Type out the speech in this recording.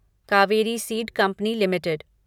Kaveri seed company limited